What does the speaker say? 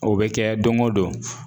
O bɛ kɛ don o don